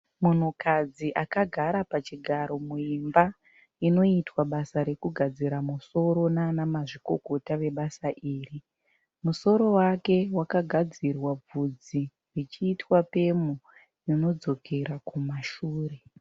Munhukadzi akagara pachigaro muimba inoitwa basa rekugadzira musoro nana mazvikokota vebasa iri, musoro wake wakagadzirwa bvudzi richiitwa pemu rinodzokera kumashure.